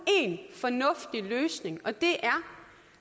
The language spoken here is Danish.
fornuftig løsning og det er